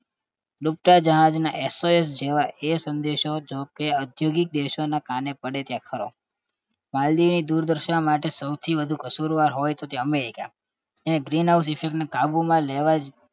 ડૂબતા જહાજના SOS જેવા એ સંદેશો જો કે ઔદ્યોગિક દેશોના કાને પડે ત્યારે ખરો માલદીવની દુર્દશા માટે સૌથી વધુ કસૂરવાર હોય તો તે અમેરિકા green house effect ને કાબુમાં લેવા જ